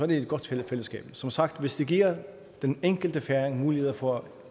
det et godt fællesskab som sagt hvis det giver den enkelte færing muligheder for at